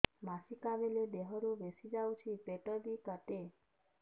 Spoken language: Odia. ମାସିକା ବେଳେ ଦିହରୁ ବେଶି ଯାଉଛି ପେଟ ବି କାଟେ